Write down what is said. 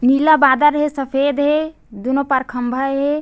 नीला बादल हे सफ़ेद हे दुनो पार खम्बा हे ।--